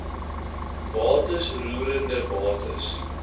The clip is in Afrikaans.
bates roerende bates